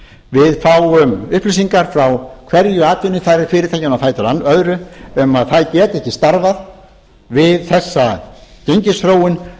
við fáum upplýsingar frá hverju atvinnufyrirtækinu á fætur öðru um að það geti ekki starfað við þessa gengisþróun